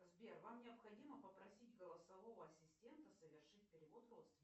сбер вам необходимо попросить голосового ассистента совершить перевод родственникам